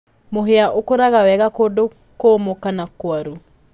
Mũhia ũkũraga wega kundu kũmũ kana kwaru.